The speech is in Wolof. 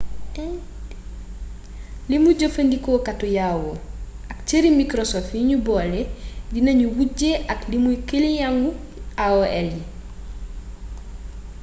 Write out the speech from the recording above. limu jëfandikookatu yahoo ak cëri microsfot yi nu boole dinanu wujje ak limu kiliyeng yu aol yi